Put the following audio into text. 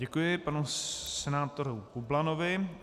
Děkuji panu senátorovi Bublanovi.